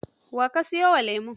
Wa ka sayo wa lemo?